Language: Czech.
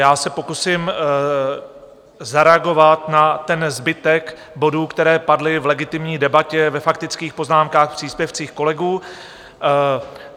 Já se pokusím zareagovat na ten zbytek bodů, které padly v legitimní debatě ve faktických poznámkách - příspěvcích kolegů.